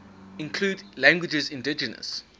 include languages indigenous